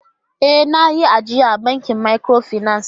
Ee! Na yi ajiya a bankin microfinance.